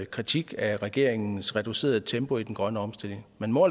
kritik af regeringens reducerede tempo i den grønne omstilling man må